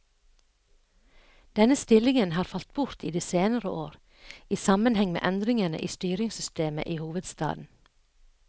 Denne stillingen har falt bort i de senere år, i sammenheng med endringene i styringssystemet i hovedstaden.